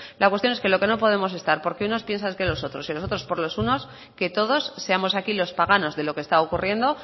la cuestión es que lo que no podemos estar porque unos piensan que los otros y los otros por los unos que todos seamos aquí los paganos de lo que está ocurriendo